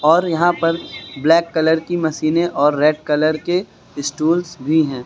और यहां पर ब्लैक कलर की मशीनें और रेड कलर के स्टूल्स भी हैं।